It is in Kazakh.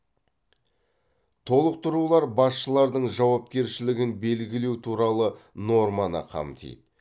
толықтырулар басшылардың жауапкершілігін белгілеу туралы норманы қамтиды